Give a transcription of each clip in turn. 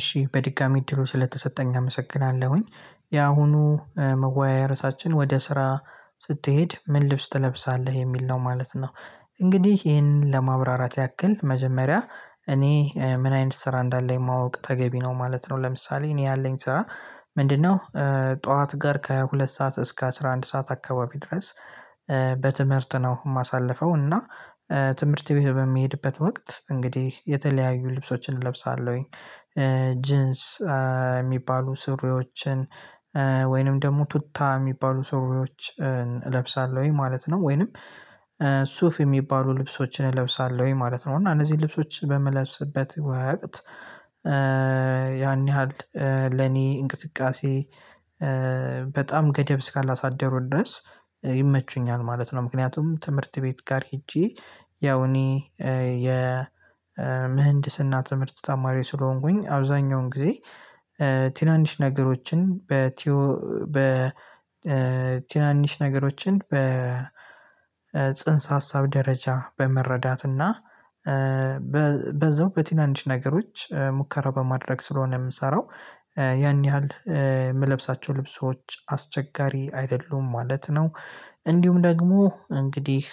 እሺ በድጋሚ እድሉ ስለተሰጠኝ አመሰግናለሁኝ ያሁኑ መወያያ ርዕሳችን ወደ ስራ ስትሄድ ምን ልብስ ትለብሳለህ የሚል ነው ማለት ነው። እንግዲህ ይሄንን ለማብራራት ያክል መጀመሪያ እኔ ምን አይነት ስራ እንዳለኝ ማወቅ ተገቢ ነው ማለት ነው ለምሳሌ እኔ ያለኝ ስራ ምንድነው? ጠዋት ጋር ከሁለት ሰዓት እስከ አስራ አንድ ሰዓት አካባቢ ድረስ በትምህርት ነው ማሳልፈው እና ትምህርት ቤት በምሄድበት ወቅት እንግዲህ የተለያዩ ልብሶችን እለብሳለሁኝ። ጅንስ ሚባሉ ሱሪዎችን ወይንም ደሞ ቱታ ሚባሉ ሱሪዎችን እለብሳለውኝ ማለት ነው። ወይንም ሱፍ የሚባሉ ልብሶችን እለብሳለውኝ ማለት ነው። እና እነዚን ልብሶች በምለብስበት ወቅት ያን ያህል ለኔ እንቅስቃሴ በጣም ገደብ እስካላሳደሩ ድረስ ይመቹኛል ማለት ነው። ምክንያቱም ትምህርት ቤት ጋር ሄጄ ያው እኔ የምህንድስና ትምህርት ተማሪ ስለሆንኩኝ አብዛኛውን ጊዜ ትናንሽ ነገሮችን በቲኦ ትናንሽ ነገሮችን በጽንሰ ሀሳብ ደረጃ በመረዳት እና በዛው በትናንሽ ነገሮች ሙከራ በማድረግ ስለሆነ ምሰራው ያን ያህል የምለብሳቸው ልብሶች አስቸጋሪ አይደሉም ማለት ነው። እንዲሁም ደግሞ እንግዲህ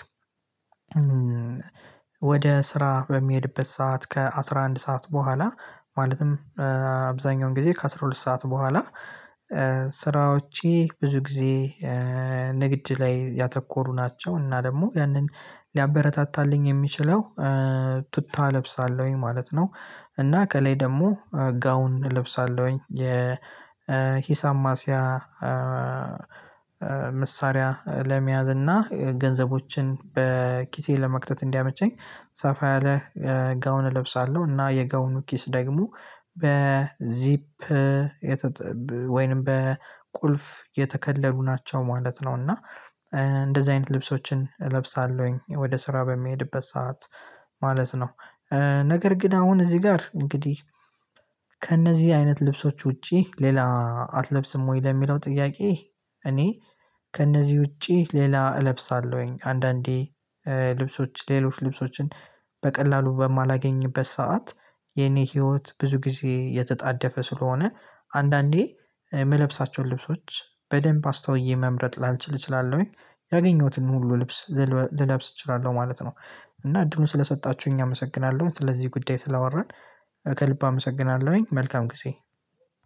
ወደ ስራ በምሄድበት ሰዓት ከአሥራ አንድ ሰዓት በኋላ ማለትም አብዛኛውን ጊዜ ከአሥራ ሁለት ሰዓት በኋላ ስራዎቼ ብዙ ጊዜ ንግድ ላይ ያተኮሩ ናቸው። እና ደግሞ ያንን ሊያበረታታልኝ የሚችለው ቱታ እለብሳለውኝ ማለት ነው። እና ከላይ ደሞ ጋውን እለብሳለውኝ የ ሂሳብ ማስያ መሳሪያ ለመያዝ እና ገንዘቦችን በኪሴ ለመክተት እንዲያመቸኝ ሰፋ ያለ ጋውን እለብሳለው እና የጋውኑ ኪስ ደግሞ በዚፕ ወይንም በቁልፍ የተከለሉ ናቸው ማለት ነው። እና እንደዚ አይነት ልብሶችን እለብሳለውኝ ወደ ስራ በምሄድበት ሰዓት ማለት ነው። ነገር ግን አሁን እዚ ጋር እንግዲህ ከእነዚ አይነት ልብሶች ውጪ ሌላ አትለብስም ወይ? ለሚለው ጥያቄ እኔ ከእነዚ ውጪ ሌላ እለብሳለውኝ አንዳንዴ ልብሶች ሌሎች ልብሶችን በቀላሉ በማላገኝበት ሰዓት የኔ ህይወት ብዙ ጊዜ የተጣደፈ ስለሆነ አንዳንዴ ምለብሳቸውን ልብሶች በደንብ አስተውዬ መምረጥ ላልችል እችላለውኝ ያገኘሁትን ሁሉ ልብስ ልለብስ እችላለው ማለት ነው። እና እድሉን ስለሰጣቹኝ አመሰግናለው ስለዚ ጉዳይ ስላወራን ከልብ አመሰግናለውኝ መልካም ጊዜ።